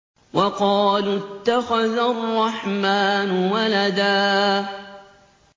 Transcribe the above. وَقَالُوا اتَّخَذَ الرَّحْمَٰنُ وَلَدًا